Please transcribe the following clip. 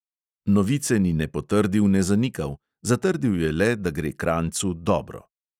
Novice ni ne potrdil ne zanikal, zatrdil je le, da gre krajncu "dobro".